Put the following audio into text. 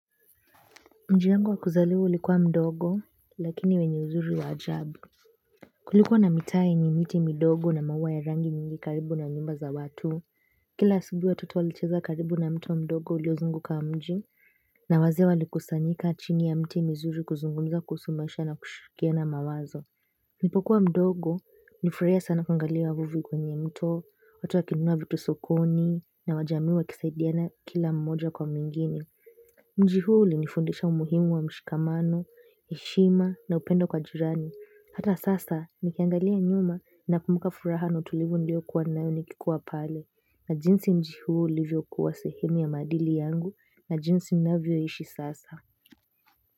Mji wangu wa kuzaliwa ulikuwa mdogo lakini wenye uzuri wa ajabu. Kulikuwa na mitaa yenye miti midogo na maua ya rangi nyingi karibu na nyumba za watu. Kila asubuhi watoto walicheza karibu na mto mdogo uliozunguka mji. Na wazee walikusanyika chini ya miti mizuri kuzungumza kuhusu maisha na kushirikiana mawazo. Nilipokuwa mdogo, nilifurahia sana kuangalia uvuvi kwenye mto, watu wakinunua vitu sokoni, na wajamii wakisaidiana kila mmoja kwa mwingine. Mji huu ulinifundisha umuhimu wa mshikamano, heshima na upendo kwa jirani. Hata sasa, nikiangalia nyuma na kumbuka furaha na utulivu niliyokuwa nayo nikikuwa pale na jinsi mji huu ulivyokuwa sehemu ya maadili yangu na jinsi ninavyoishi sasa.